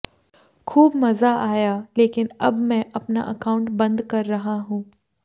खूब मजा आया लेकिन अब मैं अपना अकाउंट बंद कर रहा हूं